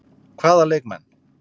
Hvaða leikmenn?